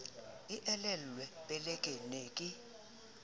e elellwe peleke ne ke